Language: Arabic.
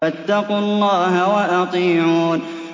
فَاتَّقُوا اللَّهَ وَأَطِيعُونِ